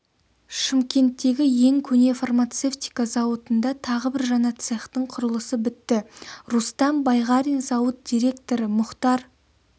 шымкенттегі ең көне фармацевтика зауытында тағы бір жаңа цехтың құрылысы бітті рустам байғарин зауыт директоры мұхтар